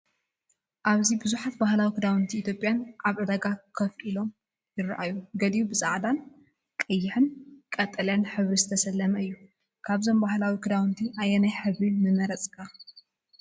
ኣብዚ ብዙሓት ባህላዊ ክዳውንቲ ኢትዮጵያ ኣብ ዕዳጋ ኮፍ ኢሎም ይረኣዩ። ገሊኡ ብጻዕዳን ቀይሕን ወይ ቀጠልያ ሕብሪ ዝተሰለመ እዩ። ካብዞም ባህላዊ ክዳውንቲ ኣየናይ ሕብሪ ምመረጽካ?